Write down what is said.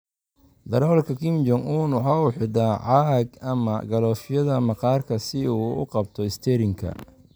Darawalka Kim Jong un waxa uu xidhaa caag ama galoofyada maqaarka si uu u qabto isteerinka.